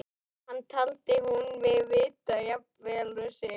Það taldi hún mig vita jafn vel og sig.